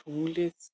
Tunglið